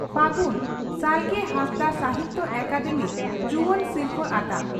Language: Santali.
ᱯᱷᱟᱹᱜᱩᱱ ᱥᱟᱞᱜᱮ ᱦᱟᱸᱥᱫᱟᱜ ᱥᱟᱦᱤᱛᱭᱚ ᱟᱠᱟᱫᱮᱢᱤ ᱡᱩᱣᱟᱹᱱ ᱥᱤᱨᱯᱷᱟᱹ ᱟᱛᱟᱝ